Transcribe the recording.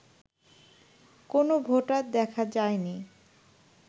কোন ভোটার দেখা যায়নি